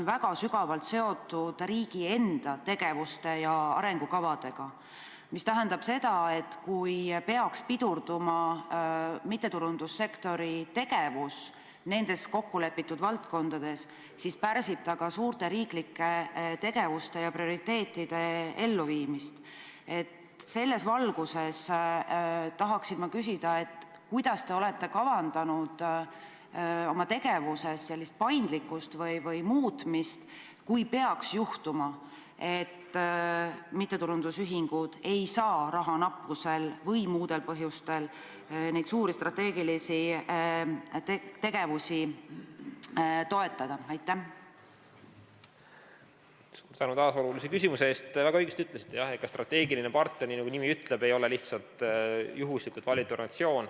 Väga õigesti ütlesite, jah, et strateegiline partner, nii nagu nimi ütleb, ei ole lihtsalt juhuslikult valitud organisatsioon.